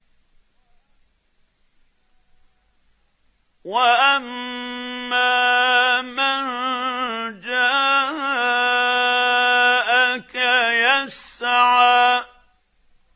وَأَمَّا مَن جَاءَكَ يَسْعَىٰ